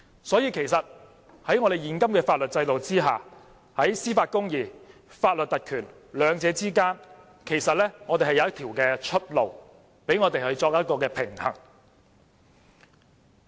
所以，其實在現行的法律制度下，在司法公義和法律特權兩者間是有一條出路，讓我們作出平衡。